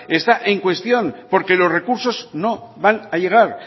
está en cuestión porque los recursos no van a llegar